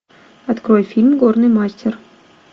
открой фильм горный мастер